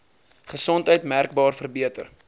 gesondheid merkbaar verbeter